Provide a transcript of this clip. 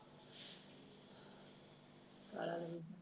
ਕਾਲਾ ਐ